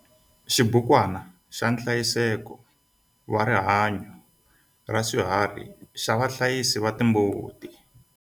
XIBUKWANA XA NHLAYISEKO WA RIHANYO RA SWIHARHI XA VAHLAYISI VA TIMBUTI.